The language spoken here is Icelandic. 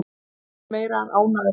Ég er meira en ánægður hérna.